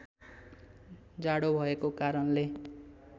जाडो भएको कारणले